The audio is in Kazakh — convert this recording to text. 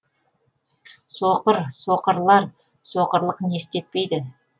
соқыр соқырлар соқырлық не істетпейді